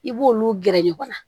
I b'olu gɛrɛ ɲɔgɔn na